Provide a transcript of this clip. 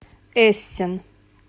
эссен